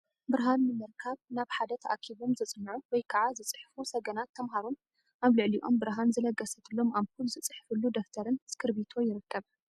ብርሃን ንምርካብ ናብ ሓደ ተኣኪቦም ዘፅንዑ ወይ ከዓ ዝፅሕፉ ሰገናት ተምሃሮን ኣብ ልዕሊኦም ብርሃን ዝለገሰትሎም ኣምፑል ዝፅሕፍሉ ደፍተርን እስክርቢቶ ይርከብ፡፡